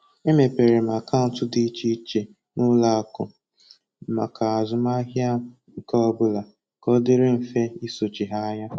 Emepere m akaụntụ di iche iche na ụlọ akụ maka azụmahịa m nke ọ bụla ka ọ dịrị mfe i sochi ha anya